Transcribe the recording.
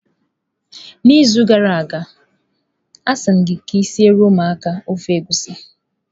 N'izu gara aga, asị m gị ka ị siere ụmụaka ofe egusi